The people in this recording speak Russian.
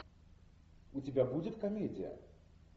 у тебя будет комедия